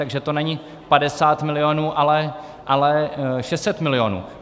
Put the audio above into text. Takže to není 50 milionů, ale 600 milionů.